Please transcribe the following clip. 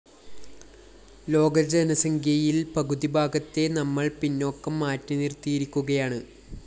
ലോകജനസംഖ്യയില്‍ പകുതിഭാഗത്തെ നമ്മള്‍ പിന്നോക്കം മാറ്റിനിര്‍ത്തിയിരിക്കുകയാണ്